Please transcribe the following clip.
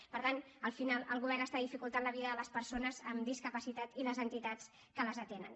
i per tant al final el govern està dificultant la vida de les persones amb discapacitat i de les entitats que les atenen